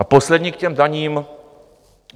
A poslední k těm daním.